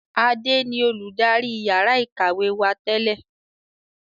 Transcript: Adé ni olùdarí yàrá ìkàwé wá tẹ́lẹ̀